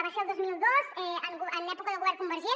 va ser el dos mil dos en època de govern convergent